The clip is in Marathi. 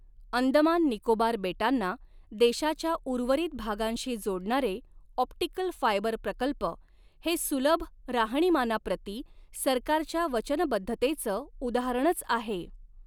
अंदमान निकोबार बेटांना देशाच्या उर्वरित भागांशी जोडणारे ऑप्टिकल फायबर प्रकल्प हे सुलभ राहणीमानाप्रती सरकारच्या वचनबद्धतेच उदाहरणच आहे.